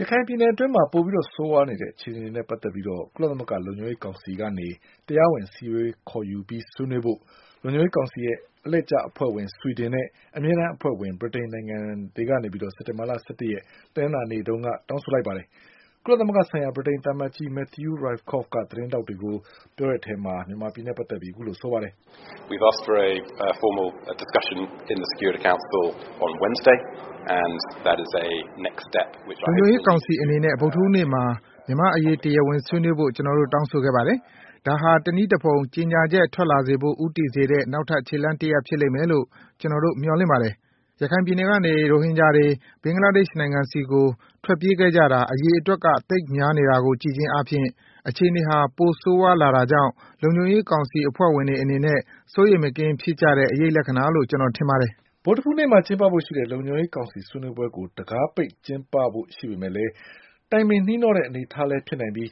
ရခိုင်ပြည်နယ်အတွင်း ပိုပြီးဆိုးဝါးနေတဲ့အခြေအနေတွေနဲ့ပတ်သက်လို့ ကုလသမဂ္ဂလုံခြုံရေးကောင်စီက တရားဝင် အစည်းအဝေး ခေါ်ယူပြီးဆွေးနွေးဖို့ လုံခြုံရေးကောင်စီရဲ့ အလှည့်ကျအဖွဲ့ဝင် ဆွီဒင်နဲ့ အမြဲ တန်းအဖွဲ့ဝင် ဗြိတိန်နိုင်ငံ တို့က စက်တင်ဘာ၁၁ရက် တနင်္လာနေ့ကတောင်းဆိုလိုက်ပါတယ်။ ကုလ သမဂ္ဂဆိုင်ရာဗြိတိန်သံအမတ်ကြီး Matthew Rycroft က သတင်းထောက်တွေကို အခုလိုပြောပါတယ်။ "လုံခြုံရေးကောင်စီအနေနဲ့ ဗုဒ္ဓဟူးနေ့မှာ မြန်မာ့အရေးတရားဝင်ဆွေးနွေးဖို့ ကျနေ်ာတို့ တောင်းဆိုပါတယ် ဒါဟာ တနည်းလမ်းနဲ့ ကြေညာချက်ထွက်လာစေဖို့ ဦးတည်စေတဲ့ နောက်ထပ်ခြေလှမ်းတရပ်ဖြစ်လိမ့်မယ်လို့ ကျနော်တို့မျှော်လင့်ပါတယ်။ ရခိုင်ပြည်နယ်ကနေ ရိုဟင်ဂျာတွေ ဘင်္ဂလားဒေ့ရှ်နိုင်ငံဆီကို ထွက်ပြေးခဲ့ကြတာ အရေအတွက်က သိပ်များနေတာကို ကြည့်ခြင်းအားဖြင့် အခြေအနေဟာ ပိုဆိုးဝါးလာတာကြောင့် လုံခြုံရေးကောင်စီအဖွဲ့ဝင်တွေအနေနဲ့ စိုးရိမ်မကင်း ဖြစ်ကြတဲ့ အရိပ်လက္ခဏာလို့ ကျနော်ထင်ပါတယ်။" ဗုဒ္ဓဟူးနေ့မှာ ကျင်းပဖို့ရှိတဲ့ လုံခြုံရေးကောင်စီ ဆွေးနွေးပွဲကို တံခါးပိတ်ကျင်းပဖို့ရှိပေမဲ့ တိုင်ပင်နှီးနှော တဲ့ အနေအထားလည်းဖြစ်နိုင်ပြီး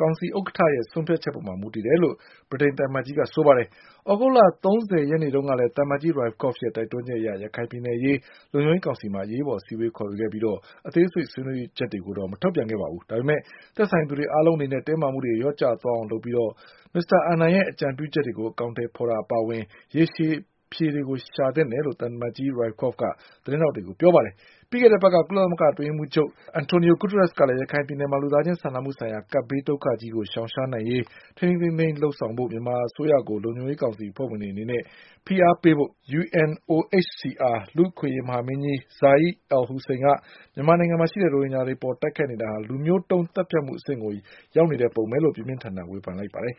ကောင်စီဥက္ကဌရဲ့ဆုံးဖြတ်ချက် ပေါ်မူတည်တယ်လို့ ဗြိတိန်သံအမတ်ကြီးကပြောပါတယ်။သြဂုတ်လ၃၀ရက်နေ့တုန်းကလည်း သံအမတ်ကြီး Rycroft ရဲ့ တိုက်တွန်းချက်အရ ရခိုင်ပြည်နယ်အရေး လုံခြုံရေးကောင်စီမှာ အရေးပေါ်အစည်းအဝေးခေါ်ယူခဲ့ပြီး အသေးစိတ်ဆွေး နွေးချက်တွေကို မထုတ်ပြန်ခဲ့ပါဘူး။ ဒါပေမဲ့ သက်ဆိုင်သူတွေအားလုံးအနေနဲ့ တင်းမာမှုတွေလျှော့ကျအောင်လုပ်ပြီး ကိုဖီအာနန်ရဲ့ အကြံပြုချက်တွေကို အကောင်အထည်ဖေါ်တာအပါအဝင် ရေရှည်အဖြေတွေရှာဖွေသင့်တယ်လို့ သံ အမတ်ကြီး Rycroftက သတင်းထောက်တွေကိုပြောခဲ့ပါတယ်။ ပြီးခဲ့တဲ့အပတ်က ကုလသမဂ္ဂ အတွင်းရေးမှူးချုပ် António Guterres ကလည်း ရခိုင်ပြည်နယ်မှာ လူသားချင်း စာနာမှုဆိုင်ရာ ကပ်ဘေး ဒုက္ခကြီး ရှောင်ရှားနိုင်ရေး ထိန်းထိန်းသိမ်းသိမ်းလုပ်ရေး မြန်မာအစိုးရကို လုံခြုံရေးကောင်စီ အဖွဲ့ဝင်နိုင်ငံတွေ အနေနဲ့ဖိအားပေးဖို့ UNOHCR တနင်္လာနေ့ကတော့ လူ့အခွင့်အရေးမဟာမင်းကြီး Zeid Ra’ad al-Hussein က မြန်မာ နိုင်ငံမှာ ရိုဟင်ဂျာတွေအပေါ် တိုက်ခိုက်နေတာက လူမျိုးတုံးသတ်ဖြတ်မှု အဆင့်ရောက်နေပုံရတယ်လို့ ပြင်းပြင်းထန် ထန်ပြောလိုက်ပါတယ်